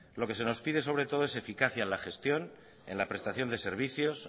lo que se no pide sobre todo es eficacia en la gestión en la prestación de servicios